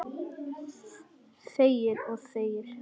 Þegir og þegir.